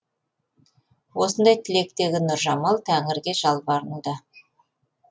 осындай тілектегі нұржамал тәңірге жалбарынуда